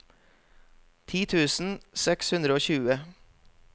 ti tusen seks hundre og tjue